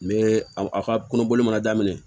N bɛ a ka kungo boli mana daminɛ